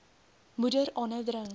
moeder aanhou drink